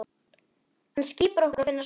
Hann skipar okkur að finna skjól.